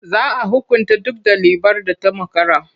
Za a hukunta duk ɗalibar da ta makara.